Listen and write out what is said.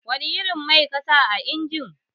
Wani irin mai kasa a injin?